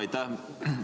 Aitäh!